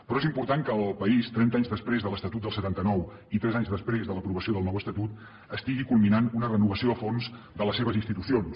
però és important que el país trenta anys després de l’estatut del setanta nou i tres anys després de l’aprovació del nou estatut estigui culminant una renovació a fons de les seves institucions